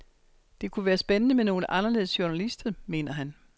Det kunne være spændende med nogle anderledes journalister, mener han.